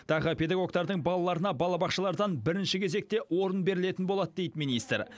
тағы педагогтардың балаларына балабақшалардан бірінші кезекте орын берілетін болады дейді министр